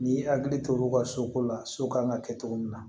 N'i y'i hakili to olu ka soko la so kan ka kɛ cogo min na